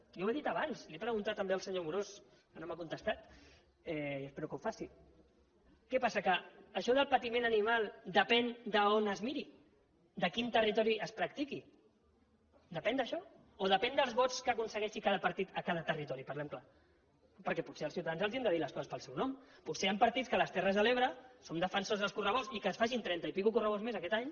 jo ho he dit abans li ho he preguntat també al senyor amorós que no m’ha contestat i espero que ho faci què passa que això del patiment animal depèn d’on es miri de a quin territori es practiqui depèn d’això o depèn dels vots que aconsegueixi cada partit a cada territori parlem clar perquè potser als ciutadans els hem de dir les coses pel seu nom potser hi han partits que a les terres de l’ebre són defensors dels correbous i que es facin trenta correbous i escaig més aquest any